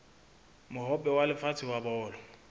mohope wa lefatshe wa bolo